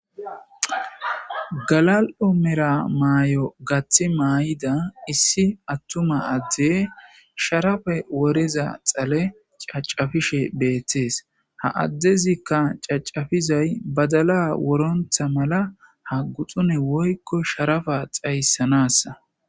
Galal7o mera maay7o gaththi maay7ida issi attuma adde sharafe woriza xale cacafishe beettees ha addezikka cacafizay badala worontha mala ha guxune woykko sharafa xayssanasa.